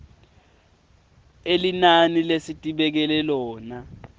elinani lesitibekele lona